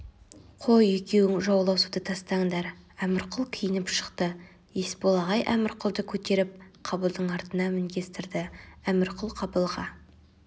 қой екеуің жауласуды тастаңдар әмірқұл киініп шықты есбол ағай әмірқұлды көтеріп қабылдың артына мінгестірді әмірқұл қабылға